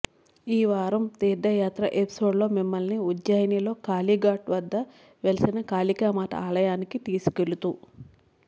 ఈ వారం తీర్థయాత్ర ఎపిసోడ్లో మిమ్మల్ని ఉజ్జయినిలో కాళీఘాట్ వద్ద వెలసిన కాళికామాత ఆలయానికి తీసుకెళుతు